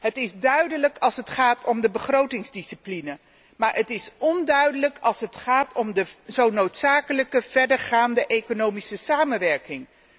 Het is duidelijk als het gaat om de begrotingsdiscipline, maar het is onduidelijk als het gaat om de zo noodzakelijke verdergaande economische samenwerking.